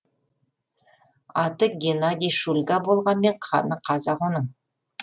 аты геннадий шульга болғанмен қаны қазақ оның